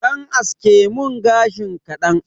Ɗan aske mun gashin kaɗan